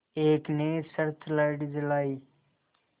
एक ने search light जलाई